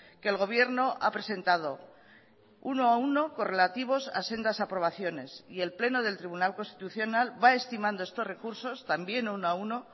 que el gobierno ha presentado uno a uno correlativos a sendas aprobaciones y el pleno del tribunal constitucional va estimando estos recursos también uno a uno